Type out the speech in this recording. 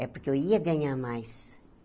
É porque eu ia ganhar mais.